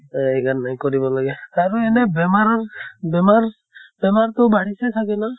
তাই, সেইকাৰণে কৰিব লাগে। কাৰণে এনে বেমাৰৰ বেমাৰ বেমাৰ তো বাঢ়িছে চাগে না?